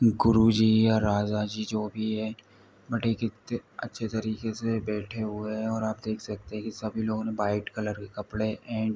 गुरु जी या राजा जी जो भी है अच्छे तरीके से बैठे हुए है और आप देख सकते है की सभी लोगो ने वाइट कलर के कपड़े एंड --